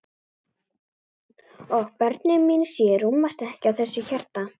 Og börnin mín sjö rúmast ekki í þessu hjarta.